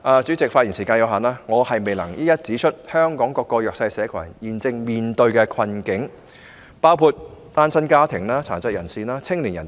主席，發言時間有限，我未能一一指出香港各個弱勢社群現正面對的困境，包括單親家庭、殘疾人士和青年人等。